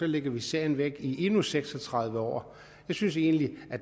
lægger sagen væk i endnu seks og tredive år jeg synes egentlig